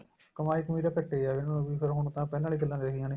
ਕਮਾਈ ਕਮੁਈ ਤਾਂ ਘੱਟ ਏ ਏ ਫੇਰ ਹੁਣ ਤਾਂ ਪਹਿਲਾਂ ਵਾਲੀਆਂ ਗੱਲਾ ਰਹੀਆਂ ਨੀਂ